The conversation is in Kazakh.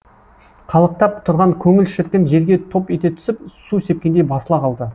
қалықтап тұрған көңіл шіркін жерге топ ете түсіп су сепкендей басыла қалды